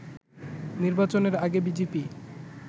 নির্বাচনের আগে বিজেপি